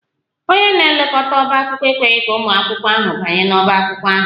Onye na-elekọta ọbá akwụkwọ ekweghị ka ụmụ akwụkwọ ahụ banye n'ọbá akwụkwọ ahụ